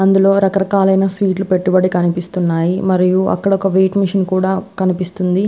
అందులో రక రకాలైన స్వీట్ లు పెట్టుబడి కనిపిస్తున్నాయి మరియు అక్కడొక వెయిట్ మిషన్ కూడా కనిపిస్తుంది.